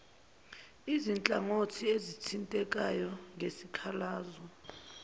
izinhlangothi ezithintekayo ngesikhalazo